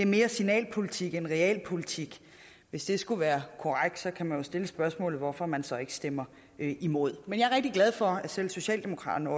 mere er signalpolitik end realpolitik hvis det skulle være korrekt kan jeg jo stille spørgsmålet hvorfor man så ikke stemmer imod men jeg er rigtig glad for at selv socialdemokraterne